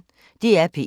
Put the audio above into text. DR P1